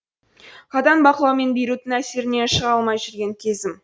қатаң бақылау мен бейруттың әсерінен шыға алмай жүрген кезім